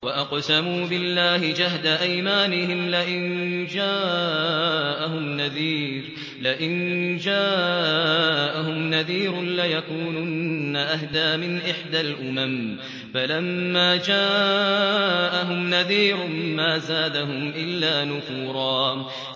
وَأَقْسَمُوا بِاللَّهِ جَهْدَ أَيْمَانِهِمْ لَئِن جَاءَهُمْ نَذِيرٌ لَّيَكُونُنَّ أَهْدَىٰ مِنْ إِحْدَى الْأُمَمِ ۖ فَلَمَّا جَاءَهُمْ نَذِيرٌ مَّا زَادَهُمْ إِلَّا نُفُورًا